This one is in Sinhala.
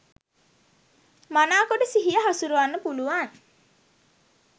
මනාකොට සිහිය හසුරුවන්න පුළුවන්.